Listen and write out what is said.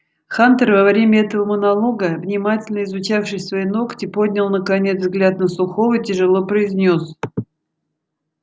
хантер во время этого монолога внимательно изучавший свои ногти поднял наконец взгляд на сухого тяжело произнёс